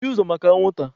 Mmechie ụzọ maka anwụnta!